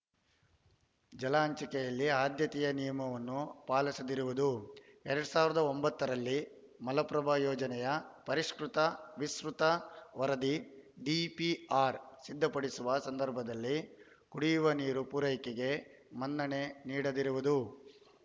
ಜಲ ಹಂಚಿಕೆಯಲ್ಲಿ ಆಧ್ಯತೆಯ ನಿಯಮವನ್ನು ಪಾಲಿಸದಿರುವುದು ಎರಡ್ ಸಾವಿರದ ಒಂಬತ್ತರಲ್ಲಿ ಮಲಪ್ರಭಾ ಯೋಜನೆಯ ಪರಿಷ್ಕೃತ ವಿಸ್ತೃತ ವರದಿ ಡಿಪಿಆರ್ ಸಿದ್ಧಪಡಿಸುವ ಸಂದರ್ಭದಲ್ಲಿ ಕುಡಿಯುವ ನೀರು ಪೂರೈಕೆಗೆ ಮನ್ನಣೆ ನೀಡದಿರುವುದು